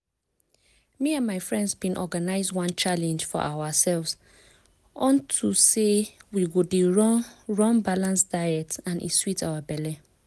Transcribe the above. wetin um i sabi now about di correct way dem dey run balanced diets just make me come begin get beta um habits.